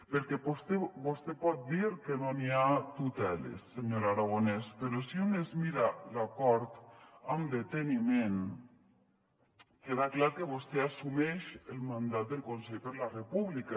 perquè vostè pot dir que no n’hi ha tuteles senyor aragonès però si es mira l’acord amb deteniment queda clar que vostè assumeix el mandat del consell per la república